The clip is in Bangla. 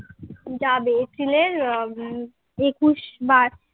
যাবে এপ্রিল এর উম একুশ বা